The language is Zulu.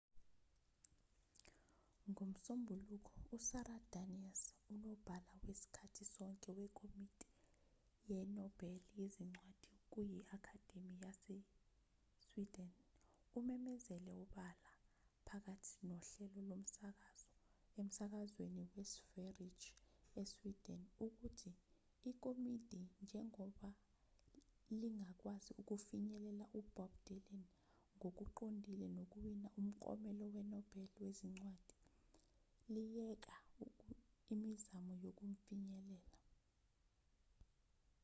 ngomsombuluko usara danius unobhala wesikhathi sonke wekomiti yenobel yezincwadi kuyi-akhademi yase-sweden umemezele obala phakathi nohlelo lomsakazo emsakazweni we-sveriges e-sweden ukuthi ikomiti njengoba lingakwazi ukufinyelela ubob dylan ngokuqondile ngokuwina umklomelo wenobel wezincwadi liyeke imizamo yokumfinyelela